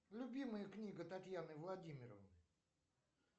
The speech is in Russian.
любимая книга татьяны владимировны